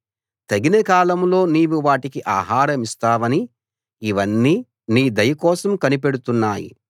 తగిన కాలంలో నీవు వాటికి ఆహారమిస్తావని ఇవన్నీ నీ దయకోసం కనిపెడుతున్నాయి